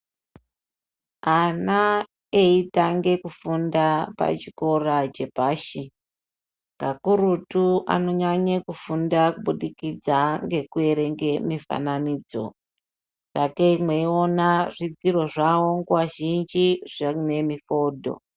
Ana eitange kufunda pachikora chepashi kakurutu anonyanye kufunda kubudikidza ngekuerenge mifananidzo sakei mweiona zvidziro zvavo zvizhinji zviine mifoto.